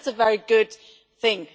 I think that is a very good thing.